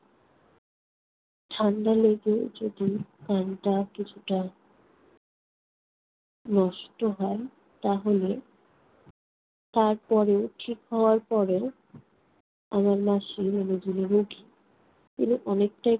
ঠান্ডা লেগে যদি কানটা কিছুটা নষ্ট হয় তাহলে তারপরে ঠিক হওয়ার পরে আমার মাসী মানে যিনি রুগি তিনি অনেকটা